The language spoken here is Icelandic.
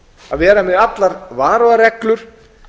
að vera með allar varúðarreglur